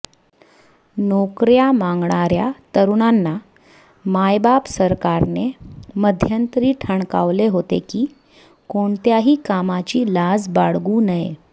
नोकऱया मागणाऱया तरुणांना मायबाप सरकारने मध्यंतरी ठणकावले होते की कोणत्याही कामाची लाज बाळगू नये